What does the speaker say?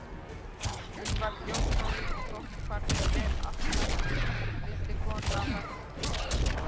Hún varð ljósmóðir og þótti farnast vel allt þar til hún missti konu af barnsförum.